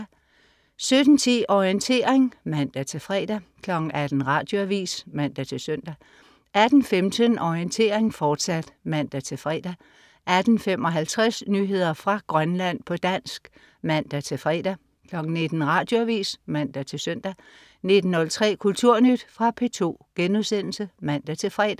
17.10 Orientering (man-fre) 18.00 Radioavis (man-søn) 18.15 Orientering, fortsat (man-fre) 18.55 Nyheder fra Grønland, på dansk (man-fre) 19.00 Radioavis (man-søn) 19.03 Kulturnyt. Fra P2* (man-fre)